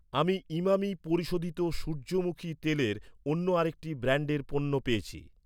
আমি ইমামি পরিশোধিত সূর্যমুখী তেলের অন্য আরেকটি ব্র্যান্ডের পণ্য পেয়েছি৷